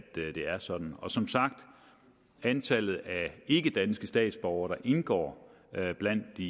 det er sådan som sagt er antallet af ikkedanske statsborgere der indgår blandt de